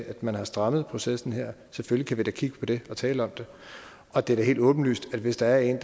at man har strammet processen her selvfølgelig kan kigge på det og tale om det og det er da helt åbenlyst at hvis der er en